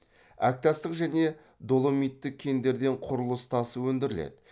әктастық және доломиттік кендерден құрылыс тасы өндіріледі